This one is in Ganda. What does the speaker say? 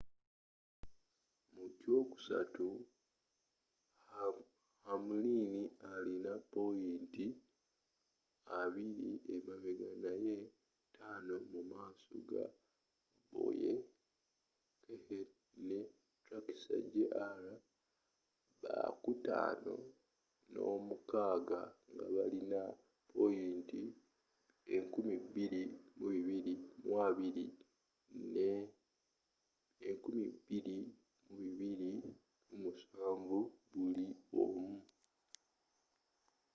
muky'okusatu hamlin alina poyinta abiri emabega naye taano mu maaso ga bowyer kahne ne truex jr bakutaano n'omukaaga nga balina poyinta 2220 ne 2,207 buliomu